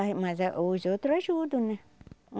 mas mas é os outros ajudam, né?